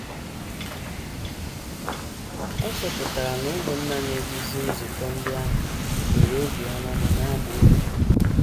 Ọ chọpụtara na ụmụnna na - eduzi nzukọ ndị ahụ nwere obiọma ma na - agba ume.